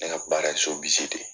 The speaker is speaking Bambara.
Ne ka baara ye de ye.